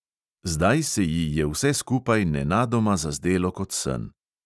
Zdaj se ji je vse skupaj nenadoma zazdelo kot sen.